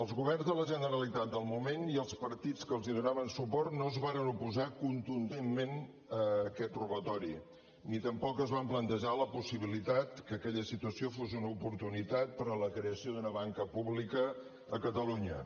els governs de la generalitat del moment i els partits que els donaven suport no es varen oposar contundentment a aquest robatori ni tampoc es van plantejar la possibilitat que aquella situació fos una oportunitat per a la creació d’una banca pública a catalunya